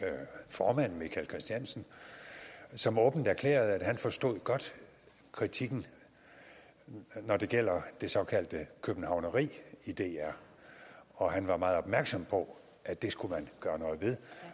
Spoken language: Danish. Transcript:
formand michael christiansen som åbent erklærede at han godt forstod kritikken når det gælder det såkaldte københavneri i dr og han var meget opmærksom på at det skulle man gøre noget ved